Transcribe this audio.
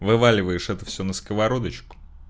вываливаешь это всё на сковородочку